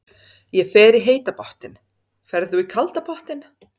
Ég fer í heita pottinn. Ferð þú í kalda pottinn?